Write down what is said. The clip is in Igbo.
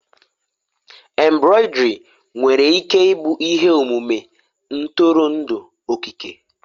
Embroidery nwere ike ịbụ ihe omume ntụrụndụ okike?